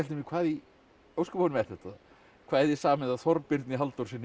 mér hvað í ósköpunum er þetta kvæði samið af Þorbirni Halldórssyni